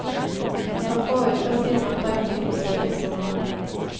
For få uker siden oppdaget de forsvinningsnummeret.